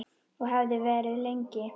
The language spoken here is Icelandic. Og hefði verið lengi.